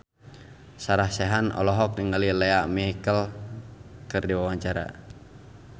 Sarah Sechan olohok ningali Lea Michele keur diwawancara